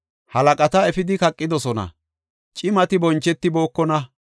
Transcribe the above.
Halaqata efidi kaqidosona; cimati bonchetibookona.